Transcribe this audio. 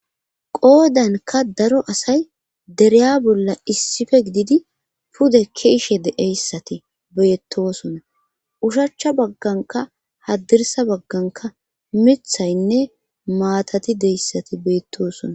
qoodanka daro asay dereya bolla issife gididi pude keeshe de'eyssati beettosona ushachcha bagganka hadirsa bagganka mithaynne maatati deyssati beettosona